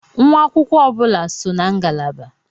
Nwa akwụkwọ ọ bụla so na ngalaba.